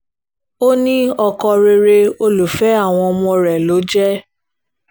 ó ní ọkọ rere olùfẹ́ àwọn ọmọ rẹ̀ ló jẹ́